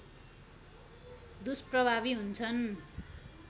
दुष्प्रभावी हुन्छन्